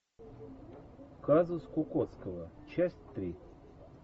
казус кукоцкого часть три